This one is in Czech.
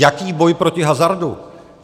Jaký boj proti hazardu?